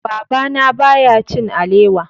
Babana baya cin alewa.